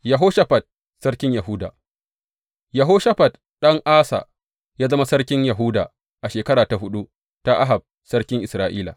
Yehoshafat sarkin Yahuda Yehoshafat ɗan Asa ya zama sarkin Yahuda a shekara ta huɗu ta Ahab sarkin Isra’ila.